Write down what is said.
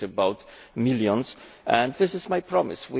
it is about millions, and this is my promise.